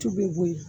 Tu bɛ bo yen